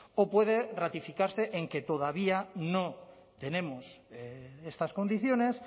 o puede ratificarse en que todavía no tenemos estas condiciones